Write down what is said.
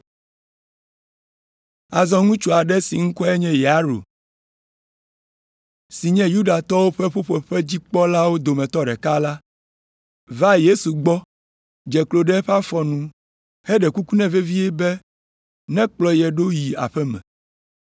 Azɔ ŋutsu aɖe si ŋkɔe nye Yairo si nye Yudatɔwo ƒe ƒuƒoƒedzikpɔlawo dometɔ ɖeka la va Yesu gbɔ dze klo ɖe eƒe afɔ nu heɖe kuku nɛ vevie be nekplɔ ye ɖo yi aƒe me,